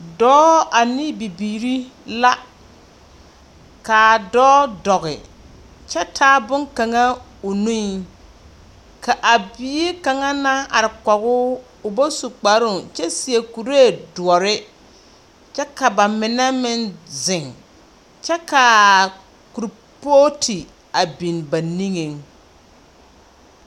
Dɔɔ ane bibiiri la. Kaa dɔɔ dɔge kyɛ taa boŋkaŋa o nueŋ. Ka a bie kaŋa naŋ are kɔgoo o ba su kparoo kyɛ seɛ kuree doɔre, kyɛ ka ba mine meŋ zeŋ. Kyɛ kaa kurpooti biŋ ba niŋeŋ.